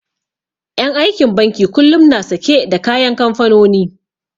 En aikin banki kullum na sake da kayan kamfanoni